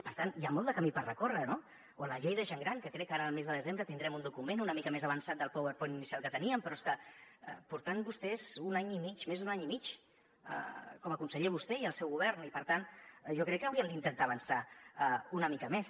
per tant hi ha molt de camí per recórrer no o la llei de gent gran que crec que ara al mes de desembre tindrem un document una mica més avançat del powerpoint inicial que teníem però és que porten vostès un any i mig més d’un any i mig com a conseller vostè i el seu govern i per tant jo crec que haurien d’intentar avançar una mica més